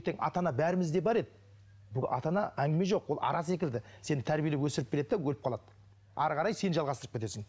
ата ана бәрімізде бар еді бұл ата ана әңгіме жоқ ол ара секілді сені тәрбиелеп өсіріп береді де өліп қалады ары қарай сен жалғастырып кетесің